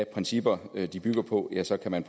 principper det er de bygger på ja så kan man